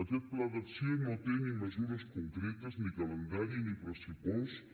aquest pla d’acció no té ni mesures concretes ni calendari ni pressupost